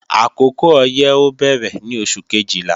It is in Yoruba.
Àkókò ọyẹ́ ó bẹ̀rẹ̀ ní oṣù Kejìlá